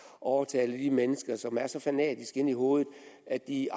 og overtale de mennesker som er så fanatiske inde i hovedet at de